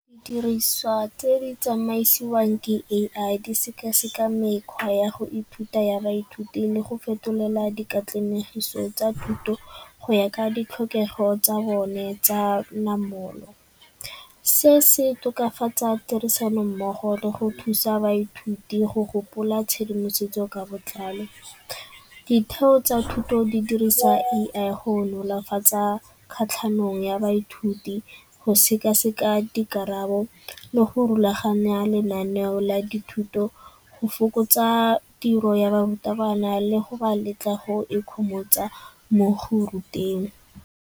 Diriswa tse di tsamaisiwang ke A_I di sekaseka mekgwa ya go ithuta ya baithuti le go fetolela dikatlanegiso tsa thuto go ya ka ditlhokego tsa bone tsa namolo. Se se tokafatsa tirisanommogo le go thusa baithuti go gopola tshedimosetso ka botlalo. Ditheo tsa thuto di dirisa A_I go nolofatsa kgatlhanong ya baithuti, go sekaseka dikarabo le go rulaganya lenaneo la dithuto, go fokotsa tiro ya barutabana le go ba letla go ikgomotsa mo go ba ruteng.